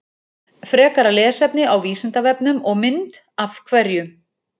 Frekara lesefni á Vísindavefnum og mynd Af hverju?